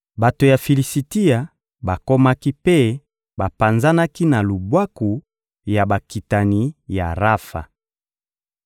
Bato ya Filisitia bakomaki mpe bapanzanaki na lubwaku ya bakitani ya Rafa.